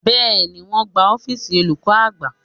Bẹ́ẹ̀ni, wọn ń gbá ọ́fíìsì olùkọ́ àgbà